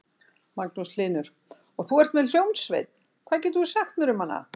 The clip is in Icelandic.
Magnús Hlynur: Og þú ert með hljómsveit, hvað getur þú sagt mér um hana?